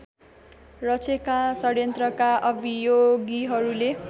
रचेका षडयन्त्रका अभियोगीहरूले